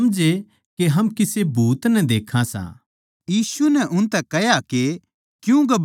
यीशु नै उनतै कह्या के क्यूँ घबराओ सों अर थारै मन म्ह क्यूँ बैहम हो सै